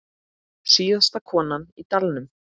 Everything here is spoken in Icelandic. Síðasta konan í dalnum